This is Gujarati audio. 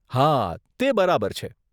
હા, તે બરાબર છે.